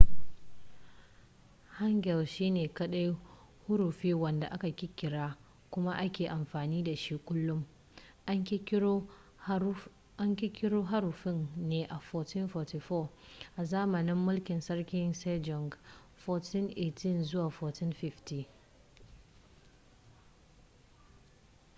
hangeul shine kadai huruffi wadda aka kirkira kuma ake amfani da shi kullum. an kirkiro haruffin ne a 1444 a zamanin mulkin sarki sejong 1418 - 1450